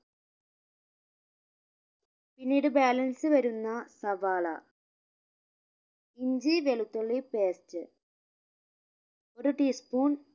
പിന്നീട് balance വരുന്ന സവാള ഇഞ്ചി വെളുത്തുള്ളി paste ഒരു tea spoon